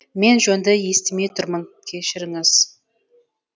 мен жөнді естімей тұрмын кешіріңіз